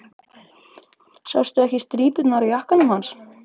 Sástu ekki strípurnar á jakkanum hans?